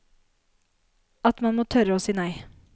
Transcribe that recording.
At man må tørre å si nei.